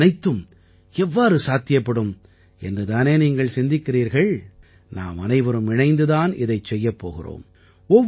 இவையனைத்தும் எவ்வாறு சாத்தியப்படும் என்று தானே நீங்கள் சிந்திக்கிறீர்கள் நாமனைவரும் இணைந்து தான் இதைச் செய்யப் போகிறோம்